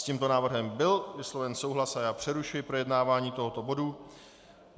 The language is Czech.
S tímto návrhem byl vysloven souhlas a já přerušuji projednávání tohoto bodu.